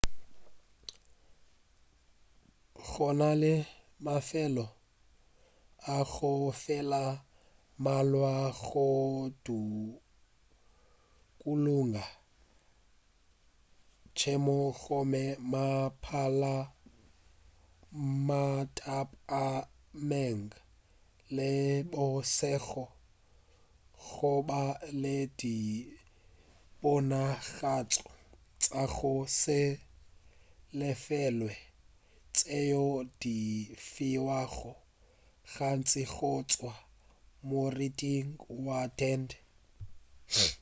go na le mafelo a go jela a mmalwa go dukuluga tšhemo gomme mathapameng le bošego go ba le diponagatšo tša go se lefelwe tšeo di fiwago gantši go tšwa morithing wa tente